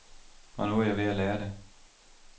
Og nu er jeg ved at lære det.